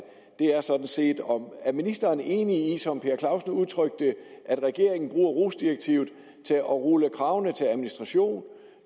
er sådan set om ministeren er enig i som herre per clausen udtrykte det at regeringen bruger rohs direktivet til at rulle kravene til administration